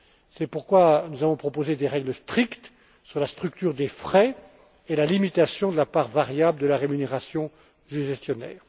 C'est pourquoi nous avons proposé des règles strictes sur la structure des frais et la limitation de la part variable de la rémunération du gestionnaire.